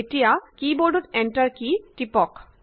এতিয়া কী বৰ্ডত এণ্টাৰ কেই টিপক